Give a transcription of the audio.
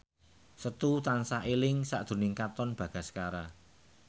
Setu tansah eling sakjroning Katon Bagaskara